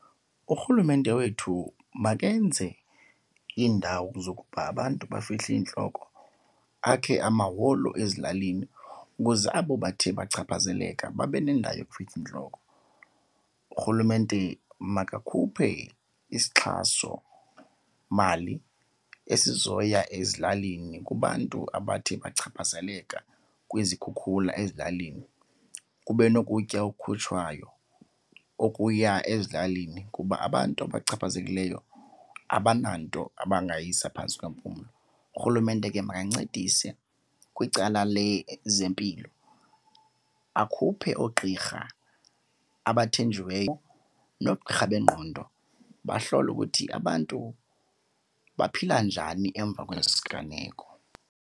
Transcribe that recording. Urhulumente wethu makenze iindawo zokuba abantu bafihle iintloko, akhe amaholo ezilalini ukuze abo bathe bachaphazeleka babe nendawo yokufihla iintloko. Urhulumente makakhuphe isixhasomali esizo ezilalini kubantu akuthe bachaphazeleka kwizikhukhula ezilalini. Kube nokutya ekhutshwayo okuya ezilalini kuba abantu abachaphazelekileyo abananto abangayisa phantsi kwempumlo. Urhulumente ke makancedise kwicala lezempilo, akhuphe oogqirha abathenjiweyo noogqirha bengqondo bahlole ukuthi abantu baphila njani emva kwesi siganeko.